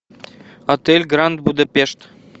отель гранд будапешт